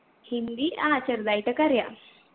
ഹിന്ദി ആ ചെറുതായിട്ടൊക്കെ അറിയാ